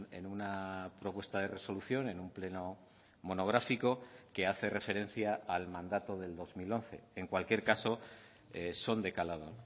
en una propuesta de resolución en un pleno monográfico que hace referencia al mandato del dos mil once en cualquier caso son de calado